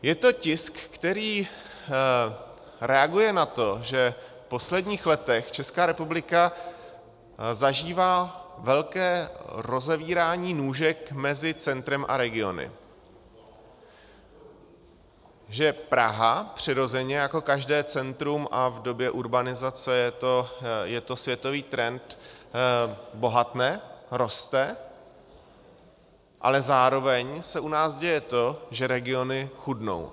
Je to tisk, který reaguje na to, že v posledních letech Česká republika zažívá velké rozevírání nůžek mezi centrem a regiony, že Praha přirozeně jako každé centrum - a v době urbanizace je to světový trend - bohatne, roste, ale zároveň se u nás děje to, že regiony chudnou.